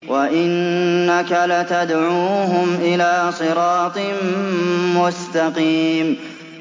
وَإِنَّكَ لَتَدْعُوهُمْ إِلَىٰ صِرَاطٍ مُّسْتَقِيمٍ